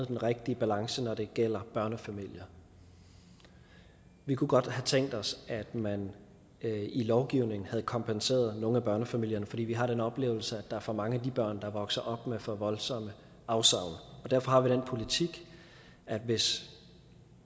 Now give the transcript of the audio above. den rigtige balance når det gælder børnefamilier vi kunne godt have tænkt os at man i lovgivningen havde kompenseret nogle af børnefamilierne fordi vi har den oplevelse at der er for mange af de børn der vokser op med for voldsomme afsavn derfor har vi den politik at hvis